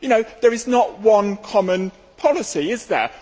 There is not one common policy, is there?